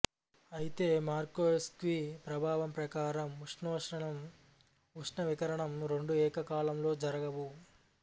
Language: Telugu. అయితే యార్కోవ్స్కీ ప్రభావం ప్రకారం ఉష్ణ శోషణం ఉష్ణ వికిరణం రెండూ ఏకకాలంలో జరగవు